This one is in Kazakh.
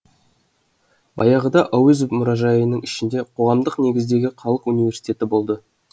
баяғыда әуезов мұражайының ішінде қоғамдық негіздегі халық университеті болды